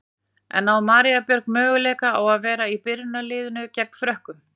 En á María Björg möguleika á að vera í byrjunarliðinu gegn Frökkum?